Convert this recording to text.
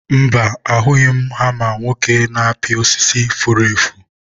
mba, ahụghị m hama nwoke na-apị osisi furu efu.